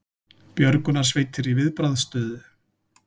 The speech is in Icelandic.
Björgunarsveitir í viðbragðsstöðu